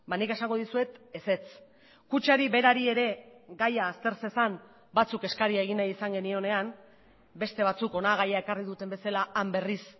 nik esango dizuet ezetz kutxari berari ere gaia azter zezan batzuk eskaria egin nahi izan genionean beste batzuk hona gaia ekarri duten bezala han berriz